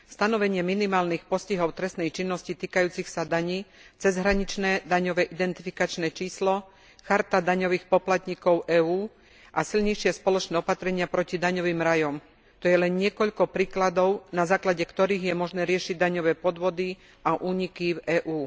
Stanovenie minimálnych postihov trestnej činnosti týkajúcich sa daní, cezhraničné daňové identifikačné číslo, charta daňových poplatníkov EÚ a silnejšie spoločné opatrenia proti daňovým rajom, to je len niekoľko príkladov, na základe ktorých je možné riešiť daňové podvody a úniky v EÚ.